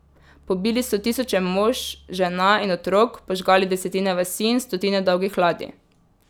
Pobili so tisoče mož, žena in otrok, požgali desetine vasi in stotine dolgih ladij.